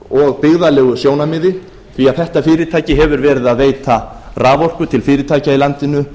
og byggðalegu sjónarmiði því þetta fyrirtæki hefur verið að veita raforku til fyrirtækja í landinu